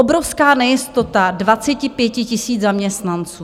Obrovská nejistota 25 000 zaměstnanců.